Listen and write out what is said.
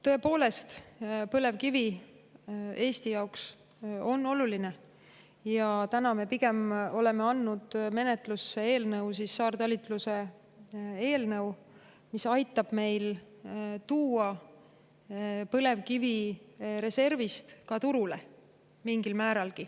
Tõepoolest, põlevkivi on Eesti jaoks oluline ja täna me oleme andnud menetlusse eelnõu – saartalitluse eelnõu –, mis aitab meil mingilgi määral tuua põlevkivi reservist ka turule.